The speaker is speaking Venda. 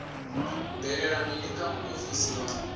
bvelela mini kha muofisi wa